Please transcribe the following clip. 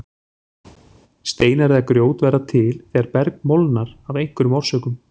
Steinar eða grjót verða til þegar berg molnar af einhverjum orsökum.